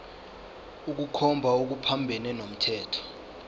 ukukhomba okuphambene nomthetho